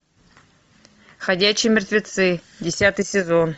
ходячие мертвецы десятый сезон